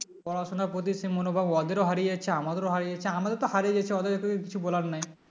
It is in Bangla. পড়াশোনার প্রতি সেই মনোভাব ওদেরও হারিয়েছে আমাদেরও হারিয়েছে আমাদের তো হারিয়ে গেছে ওদের তো বলার কিছু নাই